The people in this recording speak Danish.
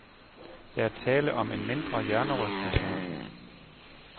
Der er tale om en mindre hjernerystelse.